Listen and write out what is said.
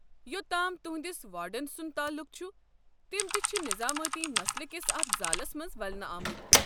یوٚت تام تُہٕنٛدس وارڈن سُنٛد تعلٗق چھُ، تِم تہِ چھِ نظٲمٲتی مسلہٕ کس اتھ زالس منٛز ولنہٕ آمٕتۍ۔